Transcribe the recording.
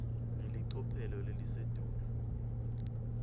ngelicophelo lelisetulu